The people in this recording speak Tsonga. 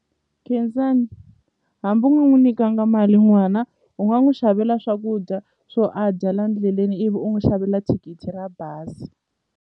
Khensani hambi u nga n'wi nyikanga mali n'wana u nga n'wi xavela swakudya swo a dya la endleleni ivi u n'wu xavela thikithi ra bazi.